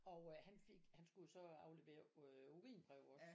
Og øh han fik han skulle jo så aflevere øh urinprøve også